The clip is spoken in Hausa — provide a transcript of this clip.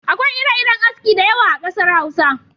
Akwai ire-iren aski da yawa a kasar Hausa.